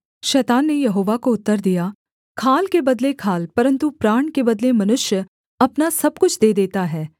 शैतान ने यहोवा को उत्तर दिया खाल के बदले खाल परन्तु प्राण के बदले मनुष्य अपना सब कुछ दे देता है